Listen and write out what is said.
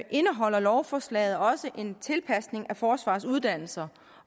indeholder lovforslaget også en tilpasning af forsvarets uddannelser